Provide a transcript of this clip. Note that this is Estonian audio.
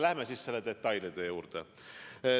Läheme siis selle detailide juurde.